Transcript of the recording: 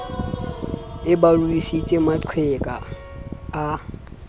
e ba ruisitse maqheka a